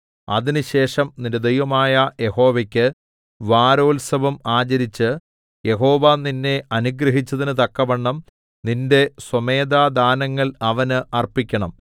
അതിനുശേഷം നിന്റെ ദൈവമായ യഹോവയ്ക്ക് വാരോത്സവം ആചരിച്ച് യഹോവ നിന്നെ അനുഗ്രഹിച്ചതിന് തക്കവണ്ണം നിന്റെ സ്വമേധാദാനങ്ങൾ അവന് അർപ്പിക്കണം